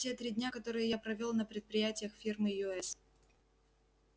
те три дня которые я провёл на предприятиях фирмы ю с